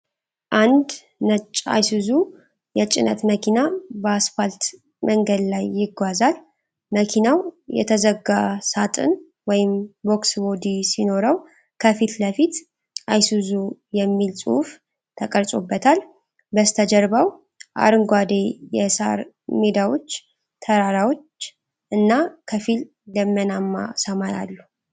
አዲስ ነጭ Isuzu የጭነት መኪና በአስፋልት መንገድ ላይ ይጓዛል። መኪናው የተዘጋ ሣጥን (Box Body) ሲኖረው፣ ከፊት ለፊት "Isuzu" የሚል ጽሑፍ ተቀርጾበታል። በስተጀርባው አረንጓዴ የሳር ሜዳዎች፣ ተራሮች እና ከፊል ደመናማ ሰማይ አሉ።